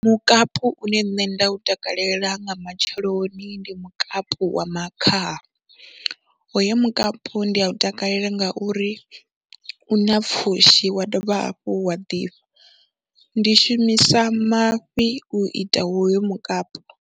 Mukapu une nṋe nda u takalela nga matsheloni ndi mukapu wa makhaha, hoyo mukapu ndi a u takalela ngauri u na pfhushi wa dovha hafhu wa ḓifha, ndi shumisa mafhi u ita hoyo mukapu.